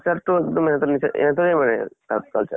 culture টো এক্দম ইহঁতৰ নিছিনা, ইহঁতৰে মানে তাত culture